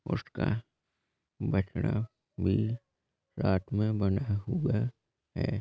उसका बछड़ा भी साथ मे बँधा हुआ है।